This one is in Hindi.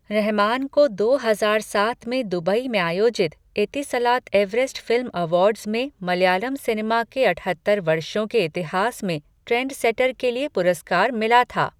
रहमान को दो हजार सात में दुबई में आयोजित एतिसलात एवरेस्ट फिल्म अवार्ड्स में मलयालम सिनेमा के अठहत्तर वर्षों के इतिहास में ट्रेंडसेटर के लिए पुरस्कार मिला था।